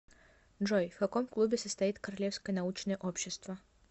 джой в каком клубе состоит королевское научное общество